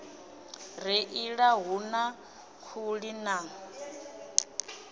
reila hu na khuli na